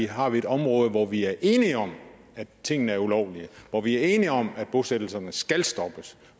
har vi et område hvor vi er enige om at tingene er ulovlige hvor vi er enige om at bosættelserne skal stoppes